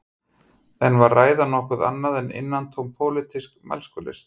En var ræðan nokkuð annað en innantóm pólitísk mælskulist